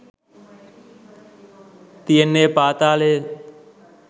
තියෙන්නෙ පාතාලය.